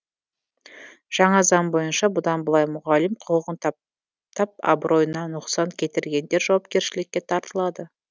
жаңа заң бойынша бұдан былай мұғалім құқығын тап тап абыройына нұқсан келтіргендер жауапкершілікке тартылады